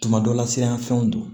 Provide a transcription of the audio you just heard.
Tuma dɔ la siran fɛnw don